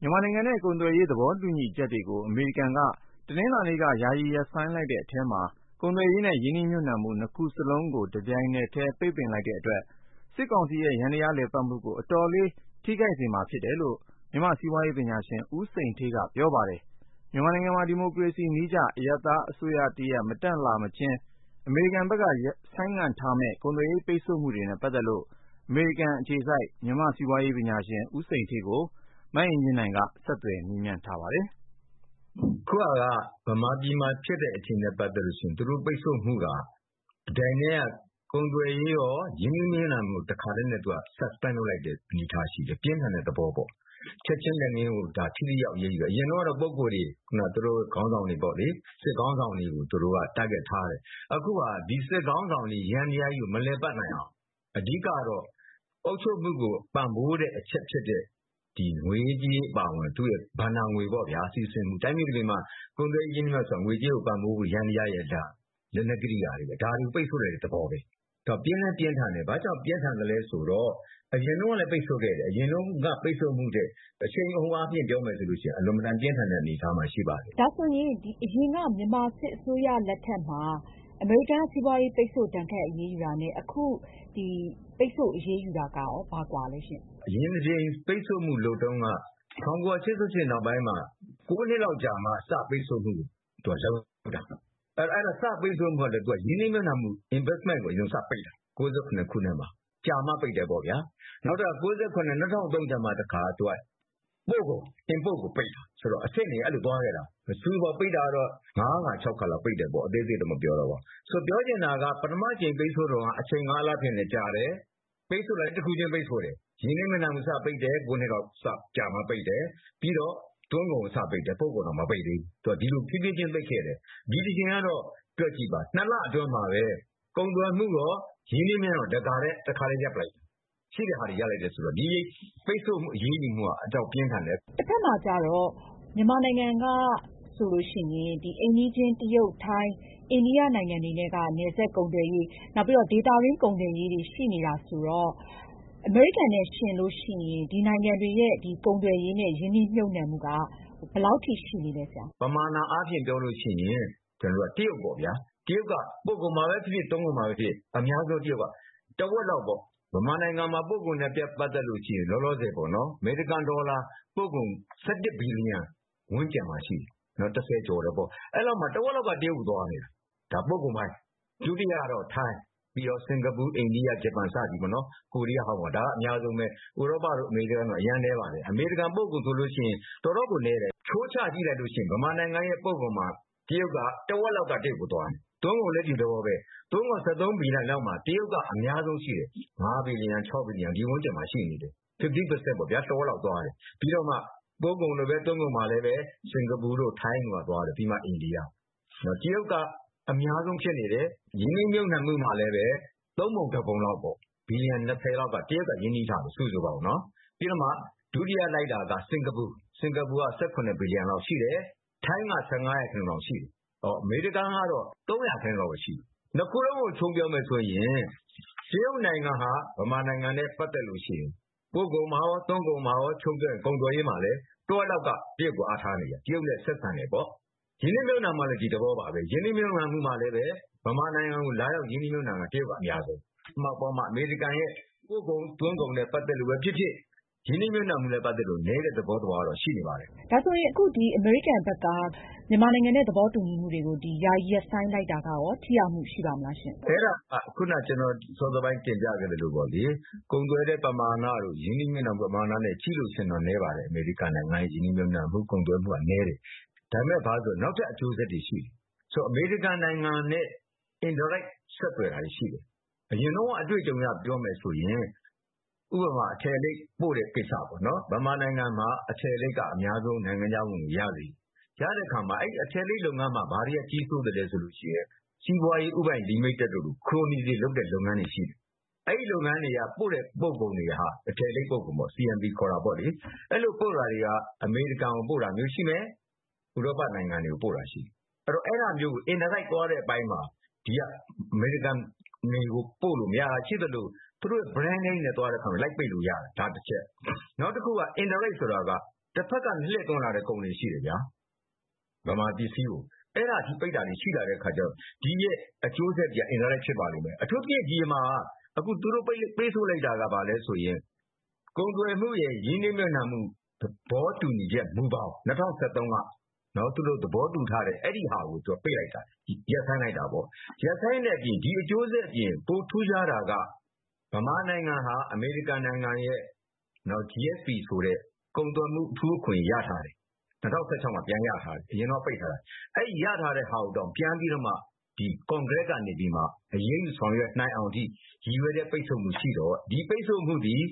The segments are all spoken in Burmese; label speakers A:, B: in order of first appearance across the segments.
A: မြန်မာနိုင်ငံနဲ့ ကုန်သွယ်ရေး သဘောတူညီချက်တွေ ယာယီရပ်ဆိုင်းလိုက်တယ်ဆိုပြီးတော့ ထုတ်ပြန်ကြေညာလိုက်ပါတယ်။ ဒီလိုအရေးယူမှုက ဘယ်လောက်အထိ ထူးခြားလဲဆရာ။
B: အခုဟာက မြန်မာပြည်မှာ ဖြစ်တဲ့အခြေအနေနဲ့ ပတ်သက်လို့ရှိရင် သူတို့ ပိတ်ဆို့မှုက တပြိုင်တည်း ကုန်သွယ်ရေးရော ရင်းနှီးမြှုပ်နှံမှုရော တခါတည်း suspend လုပ်လိုက်တဲ့ အနေအထားရှိတယ်။ ပြင်းထန်တဲ့သဘောပေါ့။ ချက်ချင်းလက်ငင်းကို ထိထိရောက်ရောက်အရေးယူတာ ။ အရင်တုန်းကတော့ ပုဂ္ဂိုလ်တွေ သူတို့ခေါင်းဆောင်တွေပေါ့လေ စစ်ခေါင်းဆောင်တွေကို သူတို့က Target ထားတယ်။ အခုက ဒီစစ်ခေါင်းဆောင်တွေ ယန္တရားကြီးကို မလည်ပတ်နိုင်အောင် အဓိကတော့ အုပ်ချုပ်မှုကို ပံ့ပိုးတဲ့အချက်ဖြစ်တဲ့ ငွေရေးကြေးရေးအပါအဝင် သူ့ရဲ့ ဘဏ္ဍာငွေစီးဆင်းမှု။ တိုင်းပြည်တပြည်မှာ ကုန်သွယ်ရေးနဲ့ ရင်းနှီးမြှုပ်နှံမှုဆိုတာ ငွေကြေးကို ပံ့ပိုးမှု ယန္တရားကြီးရဲ့ လက်နက်ကရိယာတွေပဲ ဒါကို ပိတ်ဆို့လိုက်တဲ့သဘောပဲ။ သူက ပြင်းလည်းပြင်းထန်တယ်။ ဘာကြောင့်ပြင်းထန်သလဲဆိုတော့ အရင်တုန်းကလည်း ပိတ်ဆို့ခဲ့တယ် အရင်တုန်းကလည်း ပိတ်ဆို့မှုထက် အရှိန်အဟုန်မြှင့်ပြီးတော့ ပြောမယ်ဆိုရင် အလွန် အင်မတန် ပြင်းထန်တဲ့အနေအထားမှာ ရှိပါတယ်။
A: ဒါဆိုရင် အရင်က မြန်မာစစ်အစိုးရလက်ထက်မှာ အမေရိကန်က စီးပွားရေး ပိတ်ဆို့ ဒဏ်ခတ်အရေးယူတာနဲ့ အခုဒီ ပိတ်ဆို့အရေးယူတာက ဘာကွာသလဲရှင့်။
B: အရင် ပိတ်ဆို့မှုလုပ်တုန်းက ၁၉၈၈ နောက်ပိုင်းမှာ ၉ နှစ်လောက်ကြာမှာ စပြီး ပိတ်ဆို့မှုလုပ်တာ ။ စပြီး ပိတ်ဆို့တာကလည်း ရင်းနှီးမြှုပ်နှံမှု Investment ကိုစပြီး ပိတ်တာ ၁၉၉၇ ခုနှစ်မှာ ကြာမှာ ပိတ်တယ်ပေါ့ဗျာ။ နောက် ၂၀၀၃ ကျမှ ပို့ကုန် Import ကို ပိတ်တာ ဆိုတော့ အဆင့်တွေ အဲလိုသွားခဲ့တာ။ စုစုပေါင်း ပိတ်တာကတော့ ၅ ခါ ၆ ခါလောက်ပိတ်တယ်ပေါ့။ ဆိုတော့ ပြောချင်တာက ပထမအကြိမ်ပိတ်ဆို့တုန်းက အချိန်အားဖြင့်လည်း ကြာတယ်၊ ပိတ်ဆို့တာကလည်း တခုချင်း ပိတ်ဆို့တယ်။ ရင်းနှီးမြှုပ်နှံမှုစပိတ်တယ် ၉ နှစ်လောက်ကြာမှာ စပိတ်တယ်။ ပြီးတော့ သွင်းကုန် စပိတ်တယ်။ ပို့ကုန်တော့ မပိတ်သေးဘူး သူက ဒီလို ဖြေးဖြေးချင်း ပိတ်ခဲ့တယ်။ ဒီတကြိမ်ကတော့ တွက်ကြည့်ပါ ၂ လအတွင်းမှာပဲ ကုန်သွယ်မှုရော ရင်းနှီးမြှုပ်နှံမှုရော တခါတည်း ရပ်လိုက်တယ် ရှိတာတွေ ရပ်လိုက်တယ်ဆိုတော့ ဒီပိတ်ဆို့ အရေးယူမှုက အတော်ပြင်းထန်တယ်။
A: တဖက်မှာ ကျတော့ မြန်မာနိုင်ငံကဆိုရင် အိမ်နီးချင်း ၊ တရုတ် ၊ ထိုင်း၊ အိန္ဒိယနိုင်ငံတွေက နယ်စပ်ကုန်သွယ်ရေး နောက်ပြီးတော့ ဒေသတွင်း ကုန်သွယ်ရေးတွေ ရှိနေတာဆိုတော့ အမေရိကန်နဲ့ ယှဉ်ရင် ဒီနိုင်ငံတွေရဲ့ ကုန်သွယ်ရေးနဲ့ ရင်းနှီးမြှုပ်နှံမှုက ဘယ်လောက်အထိ ရှိနေသလဲဆရာ။
B: ပမာဏအားဖြင့် ပြောရင် တရုတ်ပေ့ါဗျာ ။ တရုတ်က ပို့ကုန်မှာပဲဖြစ်ဖြစ် သွင်းကုန်မှာပဲဖြစ်ဖြစ် အများဆုံးတရုတ်က တဝက်လောက်ပေါ့ မြန်မာနိုင်ငံမှာ ပို့ကုန်နဲ့ ပတ်သက်ရင် အမေရိကန်ဒေါ်လာ ပို့ကုန် ၁၁ ဘီလီယံ ဝန်းကျင်မှာရှိတယ် ၁၀ ကျော်တယ်ပေါ့။ အဲဒီလောက်မှာ တဝက်လောက်က တရုတ်ကို သွားနေတာ ဒါက ပို့ကုန်ပိုင်း။ ဒုတိယတော့ ထိုင်း ၊ ပြီးတော့ စင်္ကာပူ၊ အိန္ဒိယ၊ ဂျပန် စသည်ပေါ့နော် ကိုရီးယား၊ ဟောင်ကောင် ပေါ့။ ဒါတွေက အများဆုံးပဲ ဥရောပတို့ အမေရိကန်တို့ကတော့ အရမ်းနည်းပါတယ်။ အမေရိကန် ပို့ကုန်ဆိုရင် တော်တော်ကို နည်းတယ်။ အချိုးချကြည့်ရင် မြန်မာနိုင်ငံရဲ့ ပို့ကုန်မှာ တဝက်လောက်ကတော့ တရုတ်ကို သွားတယ်။ သွင်းကုန်လည်း ဒီသဘောပဲ သွင်းကုန် ၁၃ ဘီလီယံ လောက်မှာ တရုတ်က အများဆုံးရှိတယ် ၅ဘီလီယံ ၆ဘီလီယံ ဒီဝန်းကျင်မှာ ရှိနေတယ်။ ၅၀ ရာခိုင်နှုန်းပေါ့ဗျာ တဝက်လောက်သွားတယ် ပြီးတော့မှ စင်္ကာပူတို့ ထိုင်းတို့ သွားတယ် ပြီးမှ အိန္ဒိယ ။ ဆိုတော့ တရုတ်က အများဆုံးဖြစ်နေတယ် ။ ရင်းနှီးမြှုပ်နှံမှုမှာလည်း ၃ ပုံ ၁ ပုံလောက်ပေါ့ ၂၀ ဘီလီယံ လောက်က တရုတ်က ရင်းနှီးထားတယ် စုစုပေါင်း ။ ပြီးတော့မှ ဒုတိယ လိုက်တာက စင်္ကာပူ ၁၇ ဘီလီယံ လောက်ရှိတယ်။ ထိုင်းက ၁၅ လောက်ရှိတယ်။ အမေရိကန်ကတော့ ၃ ရာခိုင်နှုန်းလောက်ပဲ ရှိတယ်။ ၂ ခုလုံးကို ခြုံပြောမယ်ဆိုရင် တရုတ်နိုင်ငံဟာ မြန်မာနိုင်ငံနဲ့ ပတ်သက်ရင် ပို့ကုန်မှာရော သွင်းကုန်မှာရော ခြုံပြောမယ်ဆိုရင် တဝက်လောက်က တရုတ် ကိုအားထားနေရတာ တရုတ်ကို ဆက်ဆံတယ်ပေါ့ ။ ရင်းနှီးမြှုပ်နှံမှုကလည်း ဒီသဘောပါပဲ ရင်းနှီးမြှုပ်နှံတာမှာလည်း မြန်မာနိုင်ငံကို လာရောက် ရင်းနှီးမြှုပ်နှံတာက တရုတ်က အများဆုံးပဲ။ အမေရိကန်ရဲ့ ပို့ကုန်သွင်းကုန်နဲ့ ပတ်သက်လို့ပဲ ဖြစ်ဖြစ်၊ ရင်းနှီးမြှုပ်နှံမှုနဲ့ ပတ်သက်လို့ပဲဖြစ်ဖြစ် နည်းတဲ့ သဘောတော့ ရှိနေပါတယ်။
A: ဒါဆိုရင် အခု အမေရိကန်ဘက်က မြန်မာနဲ့ သဘောတူညီမှုတွေကို ယာယီ ရပ်ဆိုင်းလိုက်တာကရော ထိရောက်မှု ရှိပါမလားရှင့်။
B: အဲဒါက စောစောက ကျနော်တင်ပြခဲ့သလိုပေါ့လေ ကုန်သွယ်တဲ့ ပမာဏတို့ ရင်းနှီးမြှုပ်နှံမှုတို့နဲ့ ကြည့်ရင်တော့ တော်တော်နည်းပါတယ်။ အမေရိကန်ရဲ့ ရင်းနှီးမြှုပ်နှံမှုနဲ့ ကုန်သွယ်မှုက နည်းတယ် ။ ဒါပေမယ့် ဘာတွေလဲဆိုတော့ နောက်ထပ် အကျိုးဆက်တွေ ရှိတယ်။ ဆိုတော့ အမေရိကန်နိုင်ငံနဲ့ Indirect ဆက်သွယ်တာတွေရှိတယ်။ အရင်တုန်းက အတွေ့အကြုံအရ ပြောမယ်ဆိုရင် ဥပမာ အထည်လိပ် ပို့တဲ့ ကိစ္စပေါ့နော်။ မြန်မာနိုင်ငံမှာ အများဆုံး အထည်လိပ်က နိုင်ငံခြားဝင်ငွေ ရစေတယ်။ ရတဲ့အခါမှာ အဲဒီ အထည်လိပ် လုပ်ငန်းမှာ ဘာတွေက ကြီးစိုးသလဲဆိုရင် စီးပွားရေး ဦးပိုင်လိမိတက်တို့လို ခရိုနီတွေ လုပ်တဲ့ လုပ်ငန်းတွေရှိတယ်။ အဲဒီလုပ်ငန်းတွေက ပို့တဲ့ ပို့ကုန်တွေဟာ အထည်လိပ် ပို့ကုန်တွေပေါ့ ။ အဲဒီလိုပို့တာတွေက အမေရိကန်ကို ပို့တာမျိုးရှိမယ် ၊ ဥရောပနိုင်ငံတွေကို ပို့တာရှိမယ်။ အဲဒီတော့ အဲဒါမျိုးကို Indirect သွားတဲ့အပိုင်းမှာ ဒီက အမေရိကန်ကို ပို့လို့ မရတာရှိသလို သူတို့ Brand name တွေနဲ့ သွားတဲ့အခါမှာ လိုက်ပိတ်လို့ရတယ် ဒါတချက် ။ နောက်တခုက Indirect ဆိုတာက တဖက်က လှည့်သွင်းလာတဲ့ ကုန်တွေရှိတယ်ဗျာ မြန်မာပစ္စည်းကို အဲဒီအထိ ပိတ်လာတာတွေရှိတဲ့ အခါကျတော့ ဒီအကျိုးဆက်တွေက Indirect ဖြစ်ပါလိမ့်မယ်။ အခုအထိ ဒီမှာ သူတို့ ပိတ်ဆို့လိုက်တာက ဘာလဲဆိုရင် ကုန်သွယ်မှုရယ် ရင်းနှီးမြှုပ်နှံမှု သဘောတူညီချက် မူဘောင် ၂၀၁၃ က သူတို့ သဘောတူထားတာကို သူက ပိတ်လိုက်တာ ရပ်ဆိုင်းလိုက်တာပေါ့။ ရပ်ဆိုင်းတဲ့အပြင် ပိုထူးခြားတာက မြန်မာနိုင်ငံဟာ အမေရိကန်နိုင်ငံရဲ့ GSP ဆိုတဲ့ ကုန်သွယ်မှု အထူးအခွင့်အရေး ၂၀၁၆ မှာ ပြန်ရထားတယ်။ အရင်တုန်းက ပိတ်ထားတာ။ အဲဒီ ရထားတာကို ပြန်ပြီးတော့မှ ကွန်ဂရက်ကနေပြီးတော့ အရေးယူ ဆောင်ရွက်နိုင်အောင်အထိ ရည်ရွယ်တဲ့ ပိတ်ဆို့မှု ရှိတော့ ဒီပိတ်ဆို့မှုသည်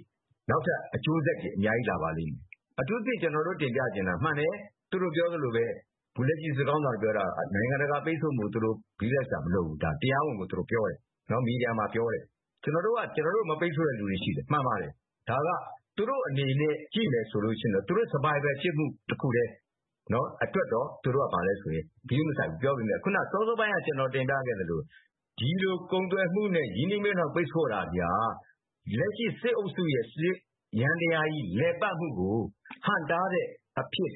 B: နောက်ထပ် အကျိုးဆက် အများကြီး လာပါလိမ့်မယ်။ အထူးသဖြင့် ကျနော်တို့ တင်ပြချင်တာက မှန်တယ် သူတို့ပြောသလိုပဲ အခုလက်ရှိ စစ်ခေါင်းဆောင်တွေ ပြောတာက နိုင်ငံတကာပိတ်ဆို့မှုကို ဂရုစိုက်စရာမလိုဘူး တရားဝင် မီဒီယာမှာ ပြောတယ် ။ “ကျနော်တို့က ကျနော်တု့ိကို မပိတ်ဆို့တဲ့လူတွေရှိတယ်” မှန်ပါတယ်။ ဒါက သူတို့ အနေနဲ့ ကြည့်မယ်ဆိုရင် သူတို့ Survival ဖြစ်မှုအတွက်တခုတည်း သူတို့က ဂရုမစိုက်ဘူး။ ခုန စောစောပိုင်းက ကျနော်တင်ပြခဲ့သလို ဒီလို ကုန်သွယ်မှုနဲ့ ရင်းနှီးမြုပ်နှံမှု ပိတ်ဆို့တာက လက်ရှိ စစ်အုပ်စုရဲ့ စစ်ယန္တရားကြီး လည်ပတ်မှုကို ဟန့်တားတဲ့ အဖြစ်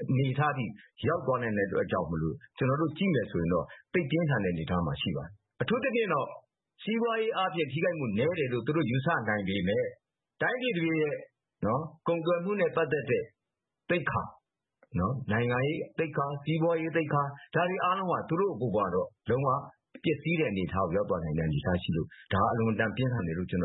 B: အနေအထားအထိ ရောက်သွားနိုင်တဲ့ အတွက်ကြောင့်မို့ ကျနော်တို့ ကြည့်မယ်ဆိုရင်တော့ သိပ်ပြင်းထန်တဲ့ အနေအထားမှာ ရှိပါတယ်။ အထူးသဖြင့်တော့ စီးပွားရေး ထိခိုက်မှု နည်းတယ်လို့ သူတို့ယူဆနိုင်ပေမယ့် တိုင်းပြည်တပြည်ရဲ့ ကုန်သွယ်မှုနဲ့ ပတ်သက်တဲ့ သိက္ခာ၊ နိုင်ငံရေး သိက္ခာ၊ စီးပွားရေး သိက္ခာ တွေအားလုံးကတော့ ပျက်စီးတဲ့အနေအထား ရောက်သွားနိုင်တဲ့ အနေအထားရှိလို့ ဒါက အလွန်အတန် ပြင်းထန်တယ်လို့ ကျနော်